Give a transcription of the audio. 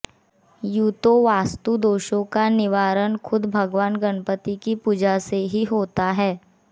यूं तो वास्तुदोषों का निवारण खुद भगवान गणपति की पूजा से ही होता है